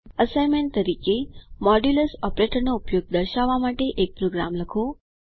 assignment તરીકે modulus ઓપરેટરનો ઉપયોગ દર્શાવવા માટે એક પ્રોગ્રામ લખો